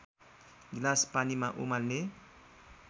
गिलास पानीमा उमाल्ने